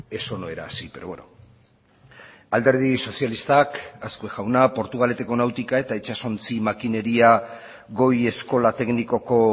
eso no era así pero bueno alderdi sozialistak azkue jauna portugaleteko nautika eta itsasontzi makineria goi eskola teknikoko